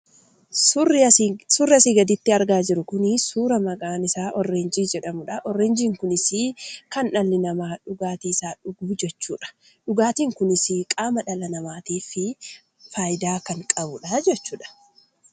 Suurri asii gaditti argaa jiru kunii suura maqaan isaa Orreenjii jedhamudha. Orreenjiin kunisii kan dhalli namaa dhugaatiisaaf dhuguu jechuudha. Dhugaatiin kunisii qaama dhala namaatiif fayidaa kan qabudhaa jechuudha.